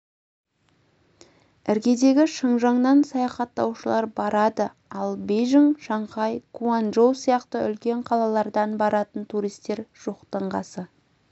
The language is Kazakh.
іргедегі шыңжаңнан саяхаттаушылар барады ал бейжің шанхай гуанчжоу сияқты үлкен қалалардан баратын туристер жоқтың қасы